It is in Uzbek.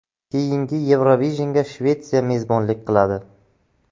Keyingi Eurovision’ga Shvetsiya mezbonlik qiladi.